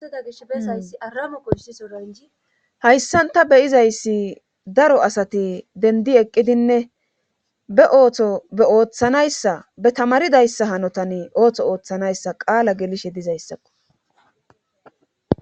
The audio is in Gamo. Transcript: Idageshbesayssiaamkoysisoanj hayssan ta beyizayssi daro asati dendi eqqidinne be ooto be ooththanayssa be tamaridayssa hanotan ootho ooththanayssa qaala gelishe dizayssakko.